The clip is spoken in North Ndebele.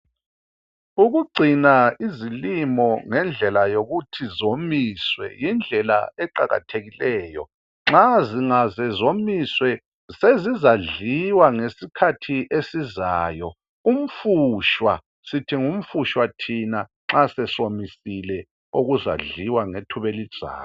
Ukugcina izilimo ngendlela yokuthi zomiswe yindlela eqakathekileyo. Nxa zingaze zomiswe, sezizadliwa ngesikhathi esizayo, umfushwa , sithi ngumfushwa thina nxa sesomisile okuzadliwa ngethuba elizayo.